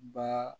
Ba